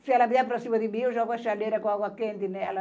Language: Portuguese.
Se ela vier para cima de mim, eu jogo a chaleira com água quente nela.